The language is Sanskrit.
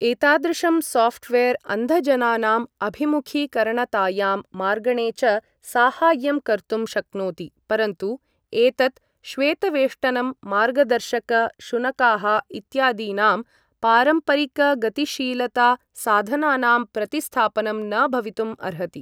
एतादृशं साफ्टवेर् अन्धजनानाम् अभिमुखीकरणतायां मार्गणे च साहाय्यं कर्तुं शक्नोति, परन्तु एतत् श्वेतवेष्टनं मार्गदर्शक शुनकाः इत्यादीनां पारम्परिकगतिशीलतासाधनानां प्रतिस्थापनं न भवितुम् अर्हति।